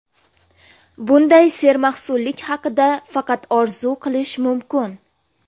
Bunday sermahsullik haqida faqat orzu qilish mumkin.